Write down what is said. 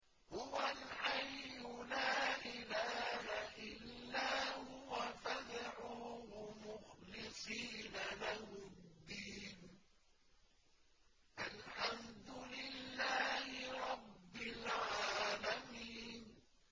هُوَ الْحَيُّ لَا إِلَٰهَ إِلَّا هُوَ فَادْعُوهُ مُخْلِصِينَ لَهُ الدِّينَ ۗ الْحَمْدُ لِلَّهِ رَبِّ الْعَالَمِينَ